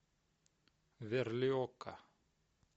верлиока